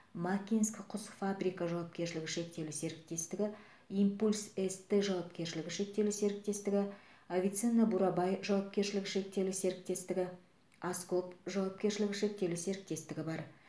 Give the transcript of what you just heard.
макинск құс фабрика жауапкершілігі шектеулі серіктестігі импульс ст жауапкершілігі шектеулі серіктестігі авиценна бурабай жауапкершілігі шектеулі серіктестігі аскоп жауапкершілігі шектеулі серіктестігі бар